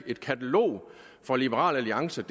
et katalog fra liberal alliances